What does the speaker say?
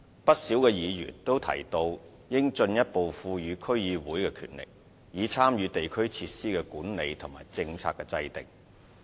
不少議員也提到應進一步賦予區議會權力，以參與地區設施的管理及政策的制訂。